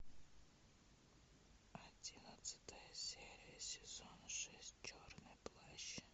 одиннадцатая серия сезона шесть черный плащ